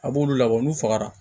A b'olu labɔ n'u fagara